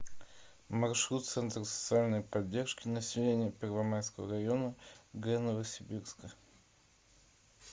маршрут центр социальной поддержки населения первомайского района г новосибирска